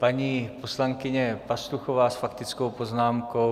Paní poslankyně Pastuchová s faktickou poznámkou.